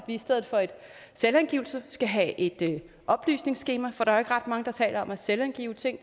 i stedet for en selvangivelse skal have et oplysningsskema for der er jo ikke ret mange der taler om at selvangive ting